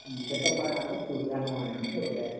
എന്തൊക്കെപ്പ നല്ല സുഖാണു മോനേ ഇനികവെടെയോ